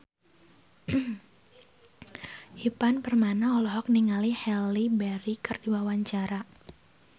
Ivan Permana olohok ningali Halle Berry keur diwawancara